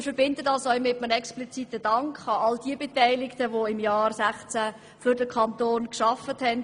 Wir verbinden dies auch mit einem expliziten Dank an all jene Beteiligten, die im Jahr 2016 für den Kanton gearbeitet haben.